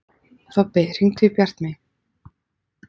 Þobbi, hringdu í Bjartmey.